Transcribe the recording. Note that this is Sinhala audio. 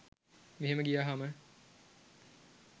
මෙහෙම ගියහම